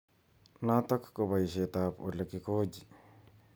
Notok ko boishet ab olekikikoji.